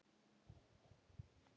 Hvað vissi hann?